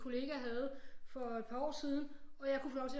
Kollega havde for et par år siden og jeg kunne få lov til